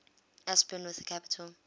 aspirin with a capital